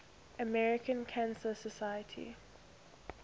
american cancer society